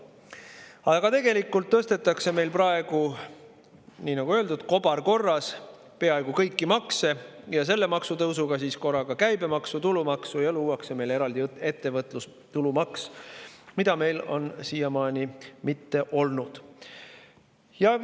Aga tegelikult tõstetakse meil praegu, nagu öeldud, kobarkorras peaaegu kõiki makse, selle maksu korraga käibemaksu ja tulumaksu, ning luuakse eraldi ettevõtlustulu maks, mida meil siiamaani ei ole olnud.